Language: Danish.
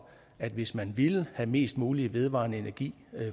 at hvis man ville have mest mulig vedvarende energi